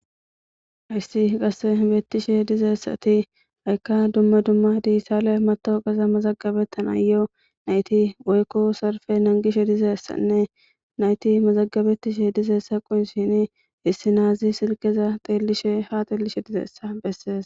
Hayssi qasekka beettishe dizayssati ha'ikka dumma dumma digitalle matawoqaza mazagabetana yo naytti woykko salippe nangishe dizayssanne naytti mazagabetishe dizayssa qonccisishinni issi nazi silkeza ha xellishe dizayssa beeses